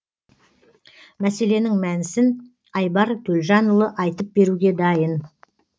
мәселенің мәнісін айбар төлжанұлы айтып беруге дайын